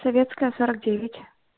советская сорок девять